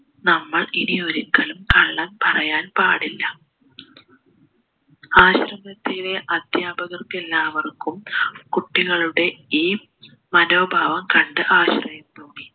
നമ്മൾ ഇനി ഒരിക്കലും കള്ളം പറയാൻ പാടില്ല ആശ്രമത്തിലെ അധ്യാപകർക്കെല്ലാവർക്കും കുട്ടികളുടെ ഈ മനോഭാവം കണ്ട് ആശ്ചര്യം തോന്നി